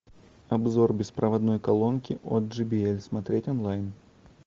обзор беспроводной колонки от джи би эль смотреть онлайн